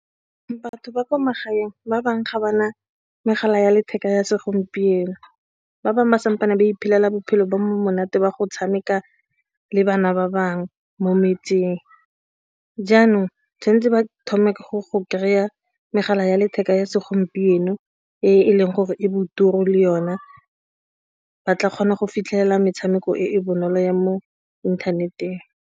Batho ba kwa magaeng ba bangwe ga ba na megala ya letheka ya segompieno, ba bangwe ba kampane ba iphelela bophelo bo monate ba go tshameka le bana ba bangwe, jaanong tshwanetse ba thoma ka go go kry-a megala ya letheka ya segompieno e leng gore e bo ditiro le yone ba tla kgona go fitlhelela metshameko e e bonolo ya mo inthaneteng.